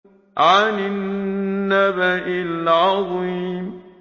عَنِ النَّبَإِ الْعَظِيمِ